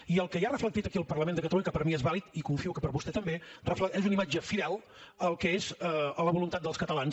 i el que hi ha reflectit aquí al parlament de catalunya que per mi és vàlid i confio que per vostè també és una imatge fidel al que és la voluntat dels catalans